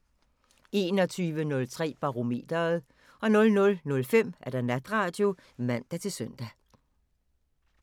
21:03: Barometeret 00:05: Natradio (man-søn)